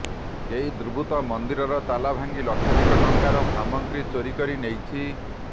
କେହି ଦୁର୍ବୃତ୍ତ ମନ୍ଦିରର ତାଲା ଭାଙ୍ଗି ଲକ୍ଷାଧିକ ଟଙ୍କାର ସାମଗ୍ରୀ ଚୋରି କରି ନେଇଛି